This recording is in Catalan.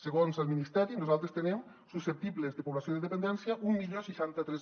segons el ministeri nosaltres tenim susceptible població de dependència deu seixanta tres